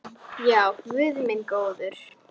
Brjóst mín.